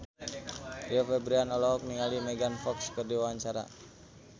Rio Febrian olohok ningali Megan Fox keur diwawancara